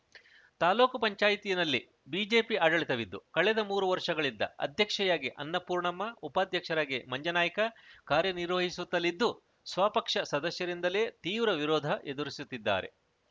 ತಾಲ್ಲೂಕು ಪಂಚಾಯತಿ ನಲ್ಲಿ ಬಿಜೆಪಿ ಆಡಳಿತವಿದ್ದು ಕಳೆದ ಮೂರು ವರ್ಷಗಳಿಂದ ಅಧ್ಯಕ್ಷೆಯಾಗಿ ಅನ್ನಪೂರ್ಣಮ್ಮ ಉಪಾಧ್ಯಕ್ಷರಾಗಿ ಮಂಜನಾಯ್ಕ ಕಾರ್ಯನಿರ್ವಹಿಸುತ್ತಲಿದ್ದು ಸ್ವ ಪಕ್ಷ ಸದಸ್ಯರಿಂದಲೇ ತೀವ್ರ ವಿರೋಧ ಎದುರಿಸುತ್ತಿದ್ದಾರೆ